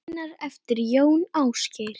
Greinar eftir Jón Ásgeir